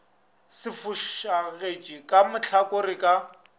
se fošagetše ka mahlakoreng ka